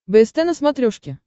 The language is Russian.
бст на смотрешке